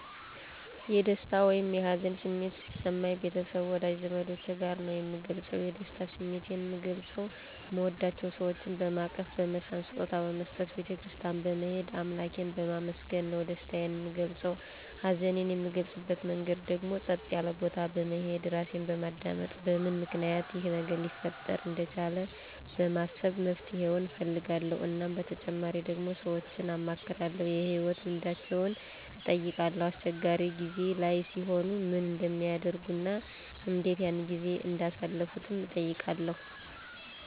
የደስታ ወይም የሀዘን ስሜት ሲሰማኝ ቤተሰብ ወዳጅ ዘመዶቸ ጋር ነዉ ምገልፀዉ የደስታ ስሜቴን ምገልፀዉ ምወዳቸዉ ሰወችን በማቀፍ በመሳም ስጦታ በመስጠት ቤተ ክርስትያን በመሄድ አምላኬን በማመስገን ነዉ ደስታየን ምገልፀዉ ሀዘኔን ምገልፅበት መንገድ ደግሞ ፀጥ ያለ ቦታ በመሄድ ራሴን በማዳመጥ በምን ምክንያት ይሄ ነገር ሊፈጠር እንደቻለ በማሰብ መፍትሄዉን እፈልጋለዉ እናም በተጨማሪ ደግሞ ሰወችን አማክራለዉ የህይወት ልምዳቸዉን እጠይቃለዉ አስቸጋሪ ጊዜ ላይ ሲሆኑ ምን እንደሚያደርጉ እና እንዴት ያን ጊዜ እንዳሳለፉትም እጠይቃለዉ